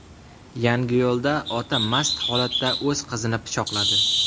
Yangiyo‘lda ota mast holatda o‘z qizini pichoqladi.